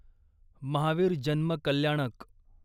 महावीर जन्म कल्याणक